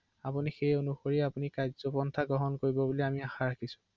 হয়